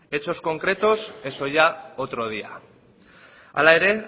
hechos concretos eso ya otro día hala ere